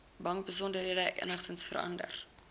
bankbesonderhede enigsins verander